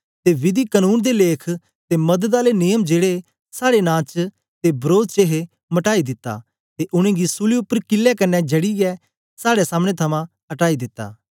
ते विधि कनून दे लेख ते मदद आले नियम जेड़े साड़े नां च ते वरोध च हे मटाई दिता ते उनेंगी सूली उपर कीले कन्ने जडियै साड़े सामने थमां अटाई दिता ऐ